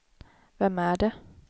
vem är det